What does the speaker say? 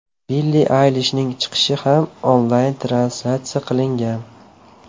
Billi Aylishning chiqishi ham onlayn translyatsiya qilingan.